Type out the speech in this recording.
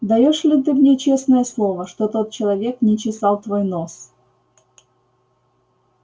даёшь ли ты мне честное слово что тот человек не чесал твой нос